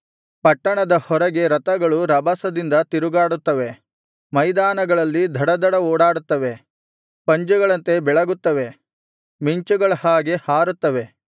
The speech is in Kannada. ಪಟ್ಟಣದ ಹೊರಗೆ ರಥಗಳು ರಭಸದಿಂದ ತಿರುಗಾಡುತ್ತವೆ ಮೈದಾನಗಳಲ್ಲಿ ಧಡಧಡ ಓಡಾಡುತ್ತವೆ ಪಂಜುಗಳಂತೆ ಬೆಳಗುತ್ತವೆ ಮಿಂಚುಗಳ ಹಾಗೆ ಹಾರುತ್ತವೆ